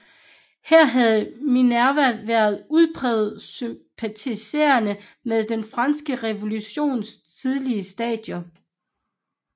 Her havde Minerva været udpræget sympatiserende med den franske revolutions tidlige stadier